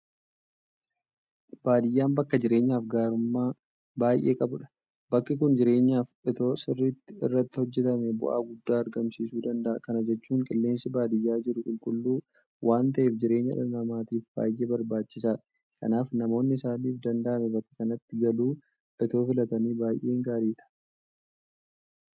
Baadiyyaan bakka jireenyaaf gaarummaa baay'ee qabudha. Bakki kun jireenyaaf itoo sirriitti irratti hojjetamee bu'aa guddaa argamsiisuu danda'a. Kana jechuun qilleensi baadiyyaa jiru qulqulluu waanta ta'eef jireenya dhala namaatiif baay'ee barbaachisaadha. Kanaaf namoonni isaaniif danda'ame bakka kanatti galuu itoo filatanii baay'ee gaariidha.